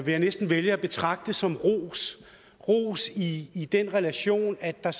jeg næsten vælge at betragte som ros ros i den relation at der